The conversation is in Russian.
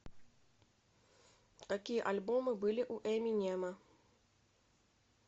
какие альбомы были у эминема